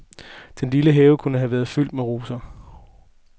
Den lille have kunne have været fyldt med roser.